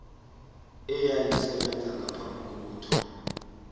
eyayisebenza ngaphambi kokuthoma